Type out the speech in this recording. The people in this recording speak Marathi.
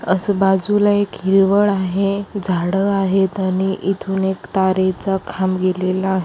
असं बाजूला एक हिरवळ आहे झाड आहेत आणि इथून एक तारेचा खांब गेलेला आहे.